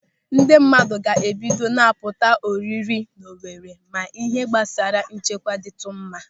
Ndị mmadụ ga-ebido na-apụta ọrịrị n'Owere ma ịhe gbasara nchekwa dịtụ mma.